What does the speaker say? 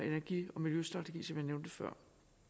energi og miljøstrategi som jeg nævnte før